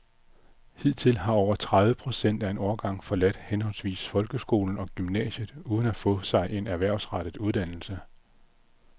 Hidtil har over tredive procent af en årgang forladt henholdsvis folkeskolen og gymnasiet uden at få sig en erhvervsrettet uddannelse.